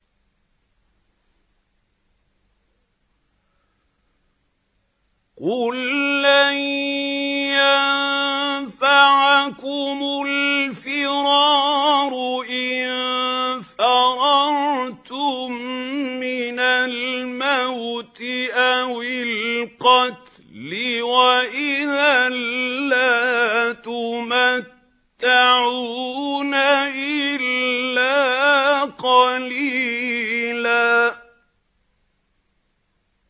قُل لَّن يَنفَعَكُمُ الْفِرَارُ إِن فَرَرْتُم مِّنَ الْمَوْتِ أَوِ الْقَتْلِ وَإِذًا لَّا تُمَتَّعُونَ إِلَّا قَلِيلًا